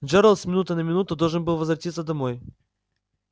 джералд с минуты на минуту должен был возвратиться домой